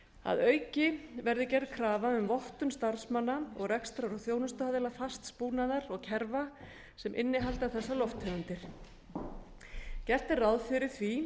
að auki verði gerð krafa um vottun starfsmanna og rekstrar og þjónustuaðila fasts búnaðar og kerfa sem innihalda þessar lofttegundir gert er ráð fyrir því